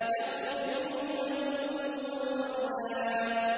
يَخْرُجُ مِنْهُمَا اللُّؤْلُؤُ وَالْمَرْجَانُ